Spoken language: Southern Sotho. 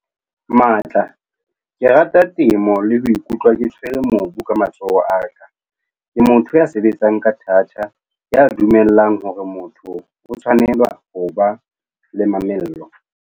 Matla- Ke rata temo le ho ikutlwa ke tshwere mobu ka matsoho a ka. Ke motho ya sebetsang ka thata, ya dumelang hore motho o tshwanela ho ba le mamello.